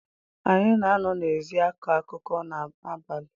Anyị na-anọ n’ezi akọ akụkọ n’abalị